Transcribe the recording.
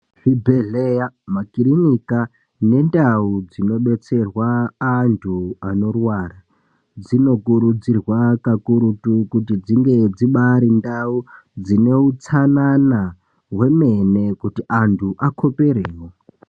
Zvibhedhleya makirinika nendau dzinobetserwa antu anorwara. Dzinokurudzirwa kakurutu kuti dzinge dzibari ndau dzine utsanana hwemene, kuti antu akoperevo.